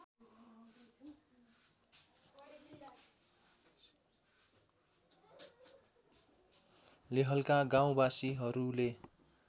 लेहलका गाउँवासीहरूले